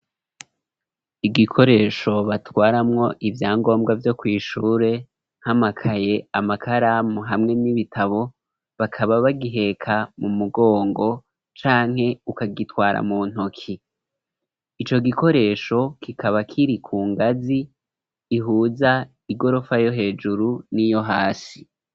Igikoresho batwaramwo ivyangombwa vyo kwishure nkamakaye amakaramu hamwe n'ibitabo bakaba bagiheka mu mugongo canke ukagitwara mu ntoki ico gikoresho kikaba kiri ku ngazi ihuza igorofa yo hejuru n'iyo hasi.